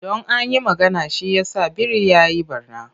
Don a yi magana, shi yasa biri ya yi ɓarna.